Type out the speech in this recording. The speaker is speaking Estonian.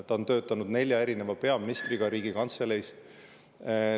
Ta on töötanud koos nelja erineva peaministriga Riigikantseleis.